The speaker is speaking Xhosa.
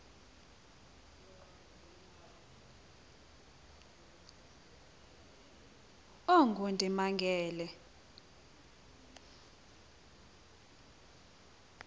ongundimangele